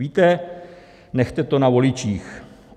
Víte, nechte to na voličích.